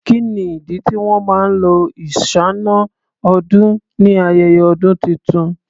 Kí ni ìdí tí wọn máa lo iṣáná-ọdún ni ayẹyẹ ọdún tuntun?